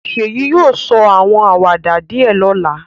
Seyi yóò sọ àwọn àwàdà díẹ̀ lọ́la